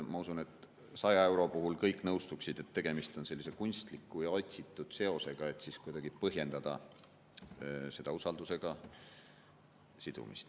Ma usun, et 100 euro puhul kõik nõustuksid, et tegemist on kunstliku ja otsitud seosega, et kuidagi põhjendada usaldusega sidumist.